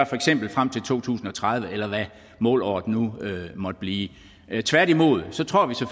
for eksempel frem til to tusind og tredive eller hvad målåret nu måtte blive